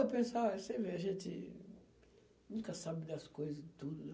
Eu pensava, você vê, a gente nunca sabe das coisas e tudo, né.